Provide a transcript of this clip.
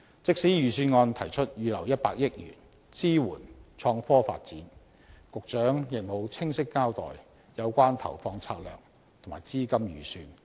即使預算案提出預留100億元支援創科發展，局長亦無清晰交代有關投放策略及資金預算。